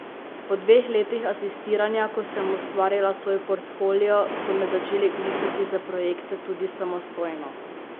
Po dveh letih asistiranja, ko sem ustvarila svoj portfolio, so me začeli klicati za projekte tudi samostojno.